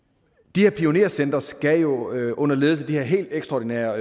de her pionercentre skal jo jo under ledelse af de helt ekstraordinære